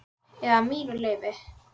Eða mínu leyfi.